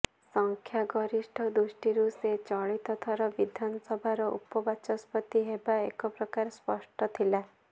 ସଂଖ୍ୟ ଗରିଷ୍ଠ ଦୃଷ୍ଟିରୁ ସେ ଚଳିତ ଥର ବିଧାନସଭାର ଉପବାଚସ୍ପତି ହେବା ଏକ ପ୍ରକାର ସ୍ପଷ୍ଟ ଥିଲା